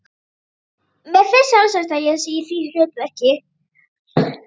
Mér finnst sjálfsagt að ég sé í því hlutverki.